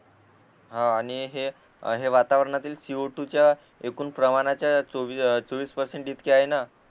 आणि हे हे वातावरणातील सी ओ टू च्या एकूण प्रमाच्या चोवी चोवीस पर्सेंट इतके आहे न